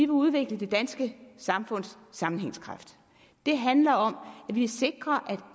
udvikle det danske samfunds sammenhængskraft det handler om at vi sikrer